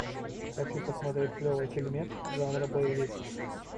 хочу посмотреть клевый фильмец жанра боевик